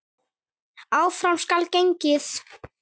Áfram skal gengið.